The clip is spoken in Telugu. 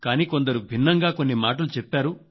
కానీ కొందరు భిన్నంగా కొన్ని మాటలు చెప్పారు